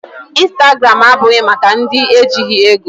Instagram abụghị maka ndị ejighị ego.